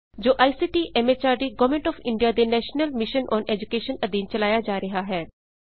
ਜੋ ICT MHRD government of India ਦੇ national mission on education ਅਧੀਨ ਚਲਾਇਆ ਜਾ ਰਿਹਾ ਹੈ